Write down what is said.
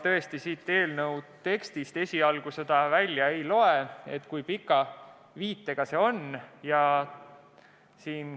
Tõesti, siit eelnõu tekstist esialgu seda välja ei loe, kui pika viitega see on.